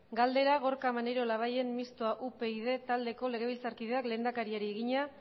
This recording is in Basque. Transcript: galdera gorka maneiro labayen mistoa upyd taldeko legebiltzarkideak lehendakariari egina